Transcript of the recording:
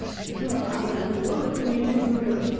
өйткені ол қандары ол өйткені ертеңгі күнін ойлаватыр